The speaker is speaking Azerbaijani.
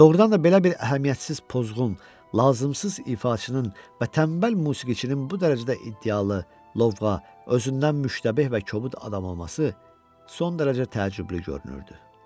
Doğrudan da belə bir əhəmiyyətsiz pozğun, lazımsız ifaçının və tənbəl musiqiçinin bu dərəcədə iddialı, lovğa, özündən müştabeh və kobud adam olması son dərəcə təəccüblü görünürdü.